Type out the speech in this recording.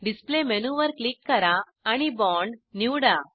display मेनूवर click करा आणि बॉण्ड निवडा